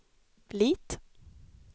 Lit